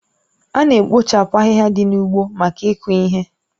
Ána abọchapu ahịhịa dị n'ugbo maka iku ihe